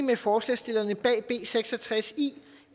med forslagsstillerne bag b seks og tres i